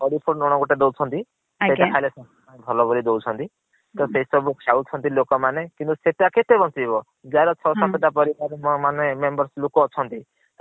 ଲୁଣ ଗୋଟେ ଦୌଛନ୍ତି ଆଜ୍ଞା। ସେସବୁ ଖାଇଲେ ଭଲ ବୋଲି ଦେଉଛନ୍ତି। ତ ସେସବୁ ଖାଉଛନ୍ତି ଲୋକ ମାନେ କିନ୍ତୁ ସେତା କେତେ ବଂଚେଇବ ଯାହାର ଛ ସାତ ଟା ପରିବାର ହଁ ମାନେ members ଲୋକ ଅଛନ୍ତି